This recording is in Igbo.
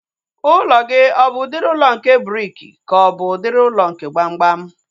Ụlọ gị ọ bụ udiri ụlọ nke briki ka ọ bụ udiri ụlọ nke gbamgbam?